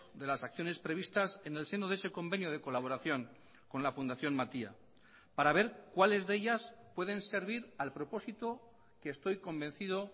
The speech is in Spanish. de las acciones previstas en el seno de ese convenio de colaboración con la fundación matia para ver cuáles de ellas pueden servir al propósito que estoy convencido